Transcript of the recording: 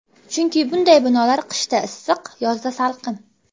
Chunki bunday binolar qishda issiq, yozda salqin.